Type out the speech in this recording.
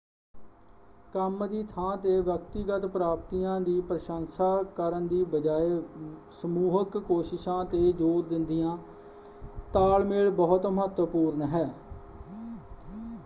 ਕੰਮ ਦੀ ਥਾਂ ‘ਤੇ ਵਿਅਕਤੀਗਤ ਪ੍ਰਾਪਤੀਆਂ ਦੀ ਪ੍ਰਸ਼ੰਸਾ ਕਰਨ ਦੀ ਬਜਾਏ ਸਮੂਹਕ ਕੋਸ਼ਿਸ਼ਾਂ 'ਤੇ ਜ਼ੋਰ ਦਿੰਦਿਆਂ ਤਾਲਮੇਲ ਬਹੁਤ ਮਹੱਤਵਪੂਰਨ ਹੈ।